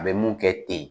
A bɛ mun kɛ ten